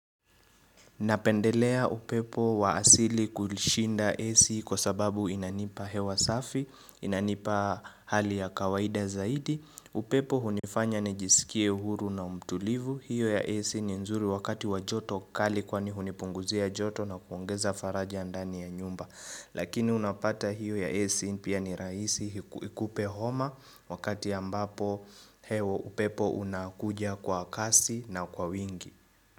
Napendelea upepo wa asili kushinda AC kwa sababu inanipa hewa safi, inanipa hali ya kawaida zaidi. Upepo hunifanya nijisikie huru na umtulivu. Hiyo ya AC ni nzuri wakati wajoto kali kwani hunipunguzia joto na kuongeza faraja ndani ya nyumba. Lakini unapata hiyo ya AC pia ni raisi ikupe homa wakati ambapo heo upepo unakuja kwa kasi na kwa wingi.